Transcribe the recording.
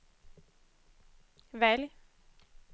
välj